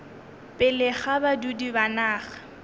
pele ga badudi ba naga